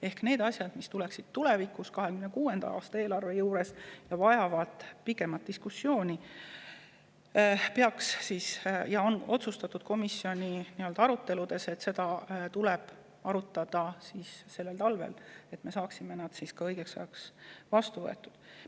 Ehk neid asju, mis tuleksid tulevikus, 2026. aasta eelarve juures, ja mis vajavad pikemat diskussiooni, peaks arutama sellel talvel – nii on komisjonis otsustatud –, et me saaksime need õigeks ajaks vastu võetud.